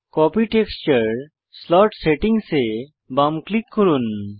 copy texture slot settings এ বাম click করুন